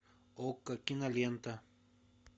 окко кинолента